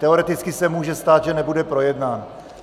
Teoreticky se může stát, že nebude projednán.